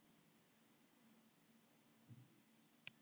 En maður getur ekki gert það.